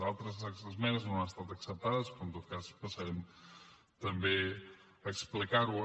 d’altres d’aquestes esmenes no han estat acceptades però en tot cas passarem també a explicar ho